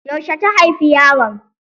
Yaushe ta haifi yaron?